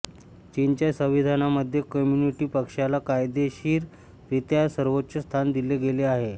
चीनच्या संविधानामध्ये कम्युनिस्ट पक्षाला कायदेशीर रित्या सर्वोच्च स्थान दिले गेले आहे